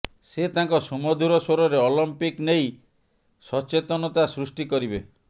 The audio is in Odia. ସେ ତାଙ୍କ ସୁମଧୁର ସ୍ୱରରେ ଅଲିମ୍ପିକ୍ ନେଇ ସଚେତନତା ସୃଷ୍ଟି କରିବେ